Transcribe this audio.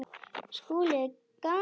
SKÚLI: Gaman!